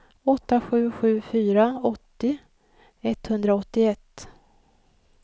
åtta sju sju fyra åttio etthundraåttioett